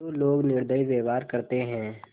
जो लोग निर्दयी व्यवहार करते हैं